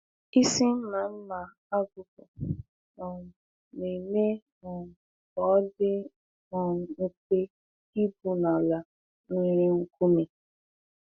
Isi mma mma agụkpụ um na-eme um ka ọ dị um mfe igwu n’ala nwere nkume.